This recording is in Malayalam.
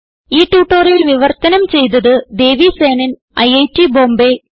ഈ ട്യൂട്ടോറിയൽ വിവർത്തനം ചെയ്തത് ദേവി സേനൻ ഐറ്റ് ബോംബേ